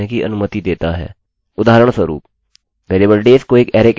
उदाहरणस्वरूप variable days को एक अरैarrayकह सकते हैं